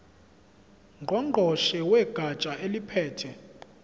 ngqongqoshe wegatsha eliphethe